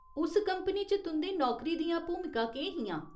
उस कंपनी च तुं'दी नौकरी दियां भूमिकां केह् हियां ?